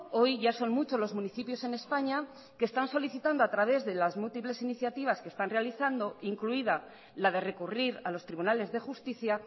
hoy ya son muchos los municipios en españa que están solicitando a través de las múltiples iniciativas que están realizando incluida la de recurrir a los tribunales de justicia